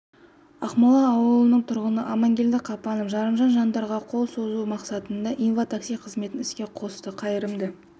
ақмола ауылының тұрғыны амангелді қапанов жарымжан жандарға қол ұшын созу мақсатында инва-такси қызметін іске қосты қайырымды